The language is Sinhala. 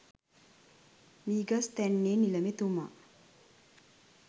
මීගස්තැන්නේ නිලමේතුමා